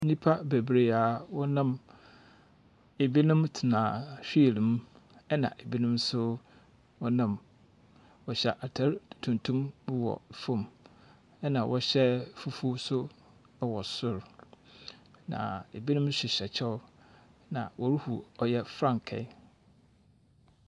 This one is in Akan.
Nnipa bebiree a wɔnam. Ebinom tena wheel mu ɛna ebinom nso wɔnam. Wɔhyɛ ataar tuntum wɔ fam ɛna wɔhyɛ fufuo nso wɔ sor. Na ebinom hyehyɛ kyɛw. Na wɔrehu frankae.